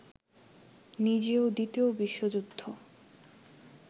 নিজেও দ্বিতীয় বিশ্বযুদ্ধ